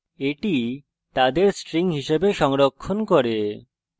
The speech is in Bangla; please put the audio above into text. এটি তাদের string হিসাবে সংরক্ষণ করে